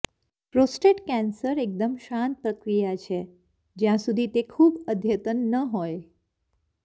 prostate cancer એકદમ શાંત પ્રક્રિયા છે જ્યાં સુધી તે ખૂબ અદ્યતન ન હોય